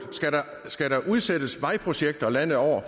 skal der udsættes vejprojekter landet over